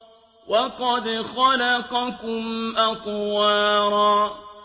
وَقَدْ خَلَقَكُمْ أَطْوَارًا